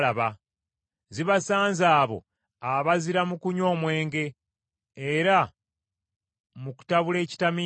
Zibasanze abo abazira mu kunywa omwenge era mu kutabula ekitamiiza,